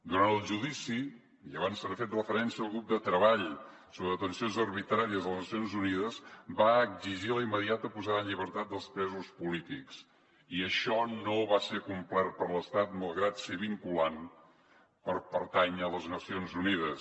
durant el judici i abans s’hi ha fet referència el grup de treball sobre detencions arbitràries de les nacions unides va exigir la immediata posada en llibertat dels presos polítics i això no va ser complert per l’estat malgrat ser vinculant per pertànyer a les nacions unides